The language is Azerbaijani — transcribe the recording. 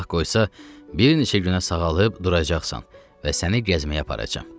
Allah qoysa, bir neçə günə sağalıb duracaqsan və səni gəzməyə aparacam.